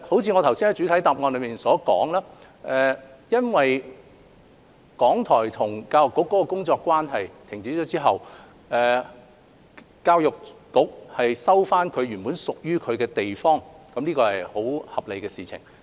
正如我在主體答覆所說，港台與教育局的工作關係停止後，教育局收回原本屬於自己的地方是很合理的事情。